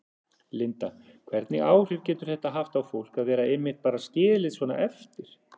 Linda: Hvernig áhrif getur þetta haft á fólk að vera einmitt bara skilið svona eftir?